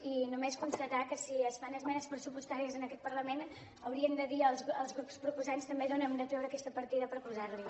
i només constatar que si es fan esmenes pressupos·tàries en aquest parlament haurien de dir als grups proposants també d’on hem de treure aquesta partida per posar·la·hi